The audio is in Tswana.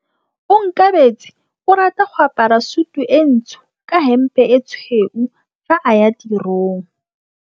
Onkabetse o rata go apara sutu e ntsho ka hempe e tshweu fa a ya tirong.